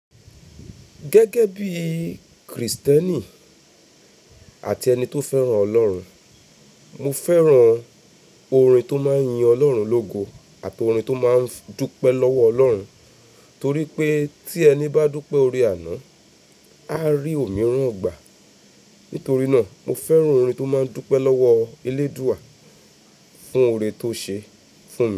Gẹ́gẹ́ bí Kristẹni àti ẹni tó fẹ́ràn Ọlọ́run, mo fẹ́ràn orin tó máa ń yin Ọlọ́run lógo àti orin tó máa ń dúpẹ́ lọ́wọ́ Ọlọ́run, torí pé tí ẹni bá dúpẹ́ ore àná, a rí òmíràn gbà. Nítorí náà, mo fẹ́ràn orin tó máa ń dúpẹ́ lọ́wọ́ eléèdúà fún ore tó ṣe fún mi.